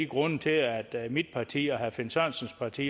grundene til at mit parti og herre finn sørensens parti